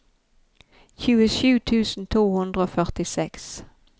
tjuesju tusen to hundre og førtiseks